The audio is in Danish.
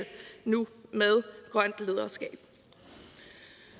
nu med grønt lederskab